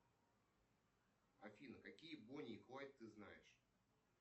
афина какие бони и клайд ты знаешь